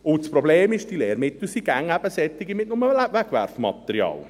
Und das Problem ist: Diese Lehrmittel sind eben immer nur solche mit Wegwerfmaterial.